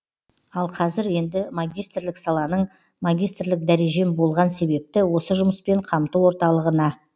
ал қазір енді магистрлік саланың магистрлік дәрежем болған себепті осы жұмыспен қамту орталығына